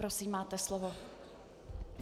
Prosím, máte slovo.